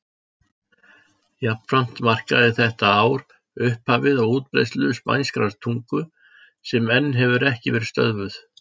Jafnframt markaði þetta ár upphafið á útbreiðslu spænskrar tungu sem enn hefur ekki verið stöðvuð.